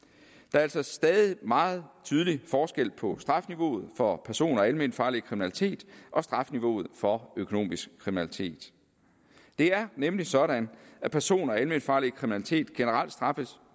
er altså stadig meget tydelig forskel på strafniveauet for person og alment farlig kriminalitet og strafniveauet for økonomisk kriminalitet det er nemlig sådan at person og alment farlig kriminalitet generelt straffes